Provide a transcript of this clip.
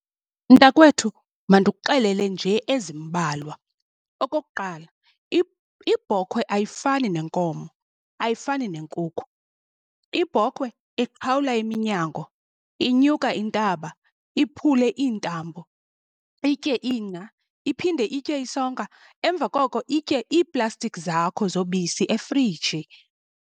Mntakwethu, mandikuxelele nje ezimbalwa. Okokuqala ibhokhwe ayifani nenkomo, ayifani neenkukhu. Ibhokhwe iqhawula iminyango, inyuka intaba, iphule iintambo, itye ingca iphinde itye isonka, emva koko itye iiplastiki zakho zobisi efriji.